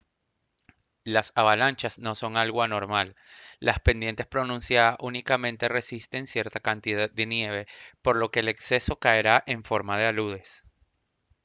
las avalanchas no son algo anormal las pendientes pronunciadas únicamente resisten cierta cantidad de nieve por lo que el exceso caerá en forma de aludes